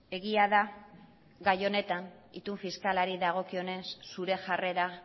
egia da gai honetan itun fiskalari dagokionez zure jarrera